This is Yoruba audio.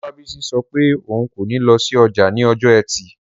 Olabisi sọ pé òun kò ní lọ sí ọjà ní ọjọ́ ẹtì